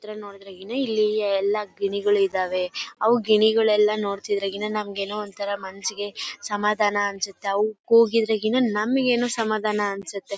ಇದ್ರಲ್ಲಿ ನೋಡಿದ್ರೆ ಗಿನ ಇಲ್ಲಿ ಎಲ್ಲಾ ಗಿಣಿಗಳು ಇದ್ದವೇ ಅವು ಗಿಣಿಗಳು ಎಲ್ಲಾ ನೋಡತಾ ಇದ್ರೆ ಮನ್ಸಿಗೆ ಏನೋ ಸಮಾದಾನಾ ಅನ್ಸುತ್ತೆ ಅವು ಕೂಗಿದ್ರೆ ಗಿನ ನಮಗೆಏನು ಸಮಾಧಾನ ಅನ್ಸುತ್ತೆ.